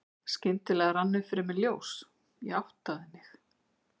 Skyndilega rann upp fyrir mér ljós, ég áttaði mig.